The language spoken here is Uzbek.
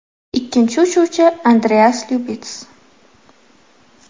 Ikkinchi uchuvchi Andreas Lyubits.